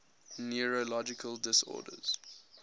neurological disorders